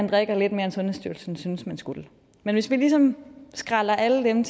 drikke lidt mere end sundhedsstyrelsen synes man skal men hvis vi ligesom skræller alle dem